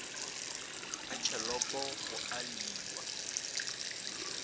ga tšhelopo go a lliwa